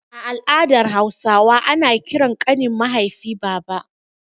A al'adar Hausawa ana ƙiran ƙanin mahaifi baba.